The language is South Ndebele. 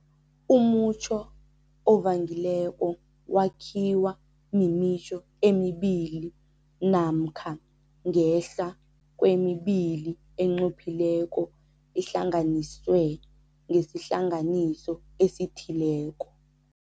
Umutjho ovangileko wakhiwa mimitjho emibili namkha ngehla kwemibili enqophileko ihlanganiswe ngesihlanganiso esithileko.